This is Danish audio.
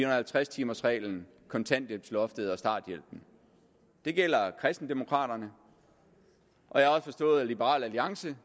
og halvtreds timers reglen kontanthjælpsloftet og starthjælpen det gælder kristendemokraterne og jeg har også forstået at liberal alliance